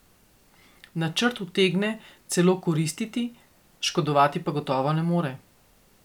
Načrt utegne celo koristiti, škodovati pa gotovo ne more.